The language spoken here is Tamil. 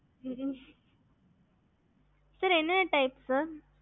மொத்தம் six type இருக்கு okey